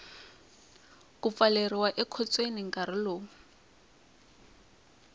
ku pfaleriwa ekhotsweni nkarhi lowu